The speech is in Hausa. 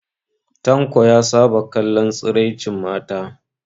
Tanko ya saba kallon tsiraicin mata